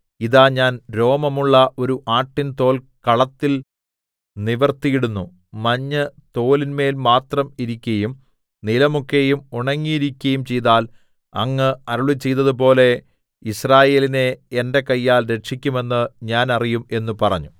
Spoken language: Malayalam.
ഇതാ ഞാൻ രോമമുള്ള ഒരു ആട്ടിൻ തോൽ കളത്തിൽ നിവർത്തിയിടുന്നു മഞ്ഞ് തോലിന്മേൽ മാത്രം ഇരിക്കയും നിലമൊക്കെയും ഉണങ്ങിയിരിക്കയും ചെയ്താൽ അങ്ങ് അരുളിച്ചെയ്തതുപോലെ യിസ്രായേലിനെ എന്റെ കയ്യാൽ രക്ഷിക്കുമെന്ന് ഞാൻ അറിയും എന്ന് പറഞ്ഞു